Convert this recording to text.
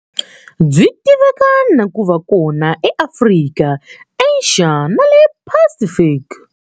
Byi tiveka na ku va kona eAfrika, Asia, na le Pacific.